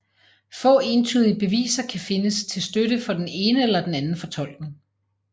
Få entydige beviser kan findes til støtte for den ene eller den anden fortolkning